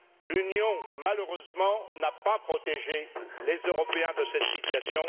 L'Union, malheureusement, n'a pas protégé les Européens de cette situation.